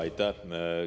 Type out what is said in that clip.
Aitäh!